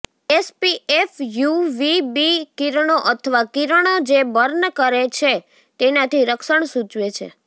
SPF UVB કિરણો અથવા કિરણો જે બર્ન કરે છે તેનાથી રક્ષણ સૂચવે છે